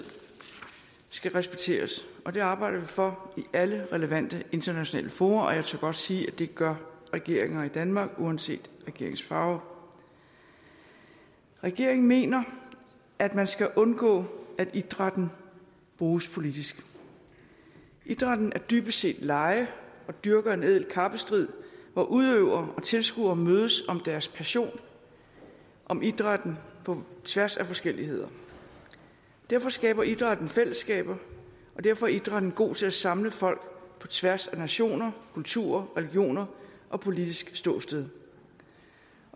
skal respekteres og det arbejder vi for i alle relevante internationale fora og jeg tør godt sige at det gør regeringer i danmark uanset regeringens farve regeringen mener at man skal undgå at idrætten bruges politisk idrætten er dybest set leg og dyrker en ædel kappestrid hvor udøvere og tilskuere mødes om deres pension om idrætten på tværs af forskelligheder derfor skaber idrætten fællesskaber og derfor er idrætten god til at samle folk på tværs af nationer kulturer religioner og politisk ståsted